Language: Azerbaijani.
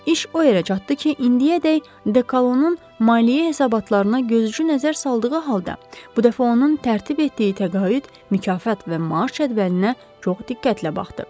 İş o yerə çatdı ki, indiyədək Dekalonun maliyyə hesabatlarına gözucu nəzər saldığı halda, bu dəfə onun tərtib etdiyi təqaüd, mükafat və maaş cədvəlinə çox diqqətlə baxdı.